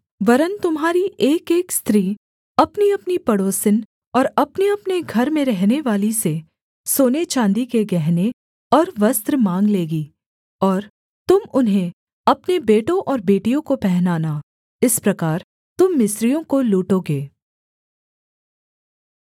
वरन् तुम्हारी एकएक स्त्री अपनीअपनी पड़ोसिन और अपनेअपने घर में रहनेवाली से सोने चाँदी के गहने और वस्त्र माँग लेगी और तुम उन्हें अपने बेटों और बेटियों को पहनाना इस प्रकार तुम मिस्रियों को लूटोगे